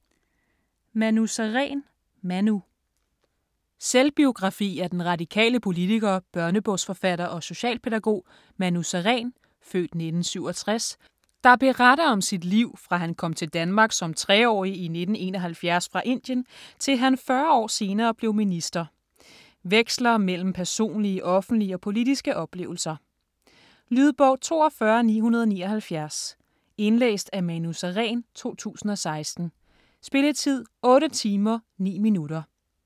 Sareen, Manu: Manu Selvbiografi af den radikale politiker, børnebogsforfatter og socialpædagog, Manu Sareen (f. 1967), der beretter om sit liv, fra han kom til Danmark som 3-årig i 1971 fra Indien til han 40 år senere blev minister. Veksler mellem personlige, offentlige og politiske oplevelser. Lydbog 42979 Indlæst af Manu Sareen, 2016. Spilletid: 8 timer, 9 minutter.